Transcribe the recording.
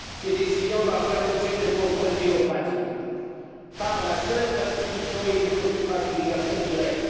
Ces décisions doivent faire l'objet d'un contrôle démocratique par la seule institution élue au suffrage universel direct.